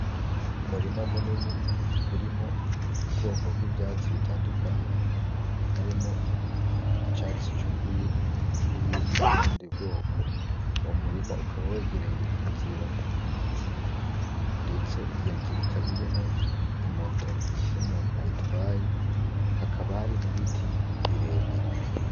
Umurima munini urimwo ubwoko bw'ivyatsi bitandukanye harimo icyatsi cy'urwiri nibindi bwubundi bwoko, uwomurima ukaba wegereye inzira ndetse iyo nzira ikaba irimwo imoto n'umuntu ayitwaye hakaba hari nibiti birebire.